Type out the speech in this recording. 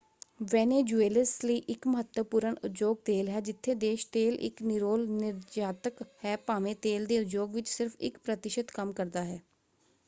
Venezuelans ਲਈ ਇਕ ਮਹੱਤਵਪੂਰਨ ਉਦਯੋਗ ਤੇਲ ਹੈ ਜਿੱਥੇ ਦੇਸ਼ ਤੇਲ ਇਕ ਨਿਰੋਲ ਨਿਰਯਾਤਕ ਹੈ ਭਾਵੇਂ ਤੇਲ ਦੇ ਉਦਯੋਗ ਵਿੱਚ ਸਿਰਫ ਇਕ ਪ੍ਰਤਿਸ਼ਤ ਕੰਮ ਕਰਦਾ ਹੈ।